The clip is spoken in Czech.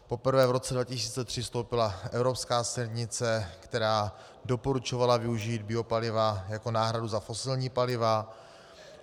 Poprvé v roce 2003 vstoupila evropská směrnice, která doporučovala využít biopaliva jako náhradu za fosilní paliva.